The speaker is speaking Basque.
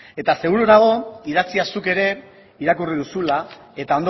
eta seguru nago idatzia zuk ere irakurri duzula eta